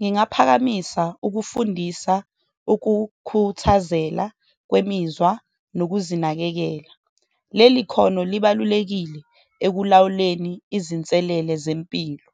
Ngingaphakamisa ukufundisa ukukhuthazela kwemizwa ngokuzinakekela, leli khono libalulekile ekulawuleni izinselele zempilo,